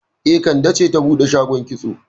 E, Kande ce ta bude shagon kitso